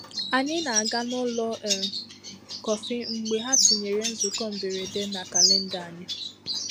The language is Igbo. Ànyị na-aga n'ụlọ um kọfị mgbe ha tinyere nzukọ mberede na kalenda anyị.